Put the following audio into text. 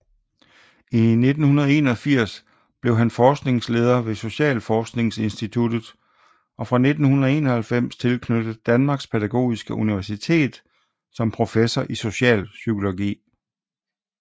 I 1981 blev han forskningsleder ved Socialforskningsinstituttet og fra 1991 tilknyttet Danmarks Pædagogiske Universitet som professor i socialpsykologi